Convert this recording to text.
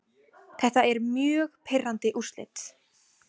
Þetta eru mjög pirrandi úrslit.